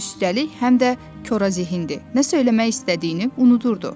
Üstəlik, həm də korazehin idi, nə söyləmək istədiyini unudurdu.